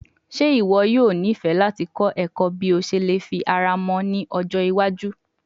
Ṣe iwọ yoo nifẹ lati kọ ẹkọ bi o ṣe le fi ara mọ ni ọjọ iwaju?